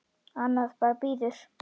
Annað bara bíður.